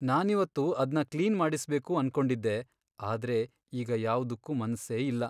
ನಾನಿವತ್ತು ಅದ್ನ ಕ್ಲೀನ್ ಮಾಡಿಸ್ಬೇಕು ಅನ್ಕೊಂಡಿದ್ದೆ, ಆದ್ರೆ ಈಗ ಯಾವ್ದುಕ್ಕೂ ಮನ್ಸೇ ಇಲ್ಲ.